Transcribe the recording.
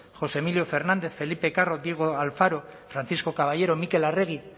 josé emilio fernández felipe carro diego alfaro francisco caballero mikel arregi